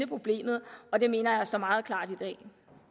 problemet og det mener jeg står meget klart i dag